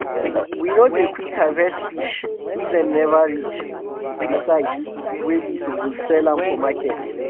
we no dey quick harvest fish if dem never reach um d size wey we suppose sell am for market.